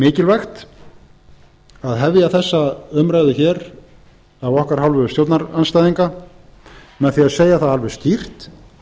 mikilvægt að hefja þessa umræðu hér af okkar hálfu stjórnarandstæðinga með því að segja það alveg skýrt